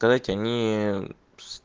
сказать они